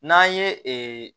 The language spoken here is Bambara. N'an ye ee